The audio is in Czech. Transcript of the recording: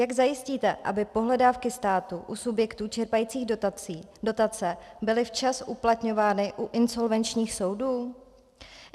Jak zajistíte, aby pohledávky státu u subjektů čerpajících dotace byly včas uplatňovány u insolvenčních soudů?